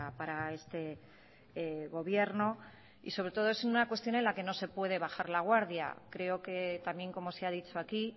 para este gobierno y sobre todo es una cuestión en la que no se puede bajar la guardia creo que también como se ha dicho aquí